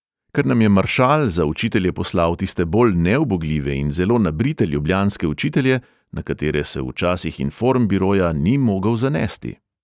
Ker nam je maršal za učitelje poslal tiste bolj neubogljive in zelo nabrite ljubljanske učitelje, na katere se v časih informbiroja ni mogel zanesti.